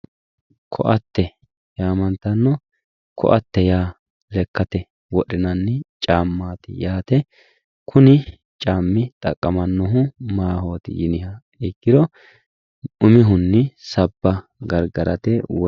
Koatte yaa lekkate wodhinanni caammaati yaate kuni caammi xaqqamannohu maahooti yiniha ikkiro umihunnu sabba gargarate